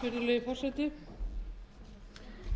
virðulegi forseti